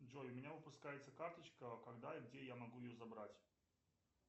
джой у меня выпускается карточка когда и где я могу ее забрать